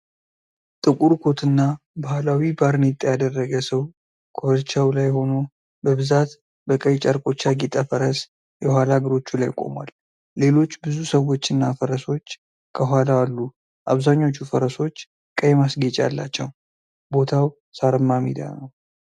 ጥቁር ኮትና ባህላዊ ባርኔጣ ያደረገ ሰው ኮርቻው ላይ ሆኖ፣ በብዛት በቀይ ጨርቆች ያጌጠ ፈረስ የኋላ እግሮቹ ላይ ቆሟል። ሌሎች ብዙ ሰዎችና ፈረሶች ከኋላው አሉ፤ አብዛኞቹ ፈረሶች ቀይ ማስጌጫ አላቸው። ቦታው ሳርማ ሜዳ ነው።